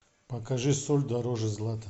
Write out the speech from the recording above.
покажи соль дороже злата